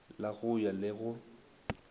la go ya le go